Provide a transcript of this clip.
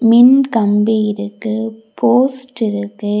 மின் கம்பி இருக்கு போஸ்ட் இருக்கு.